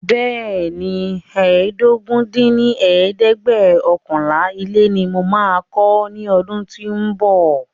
Bẹẹni, ẹ́ẹdógún dín ní ẹ̀ẹ́dẹ́gbẹ́ọ̀kànlá ilé ní mo máa kọ́ ní ọdún tí o ń bọ̀